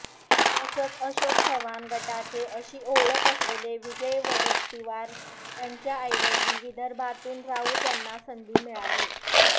तसंच अशोक चव्हाण गटाचे अशी ओळख असलेले विजय वडेट्टीवार यांच्याऐवजी विदर्भातून राऊत यांना संधी मिळाली